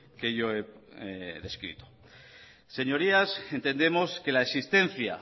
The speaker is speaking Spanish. que yo he descrito señorías entendemos que la existencia